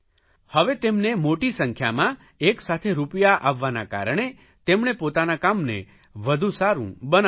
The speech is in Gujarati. હવે તેમને મોટી સંખ્યામાં એક સાથે રૂપિયા આવવાના કારણે તેમણે પોતાના કામને વધુ સારૂં બનાવી દીધું